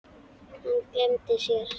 Hann gleymdi sér.